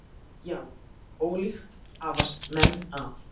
Já, ólíkt hafast menn að.